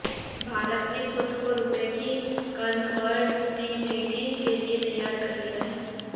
भारत ने खुद को रुपए की कन्वटबिलिटी के लिए तैयार कर लिया है